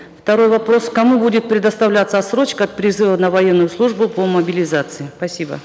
второй вопрос кому будет предоставляться отсрочка от призыва на военную службу по мобилизации спасибо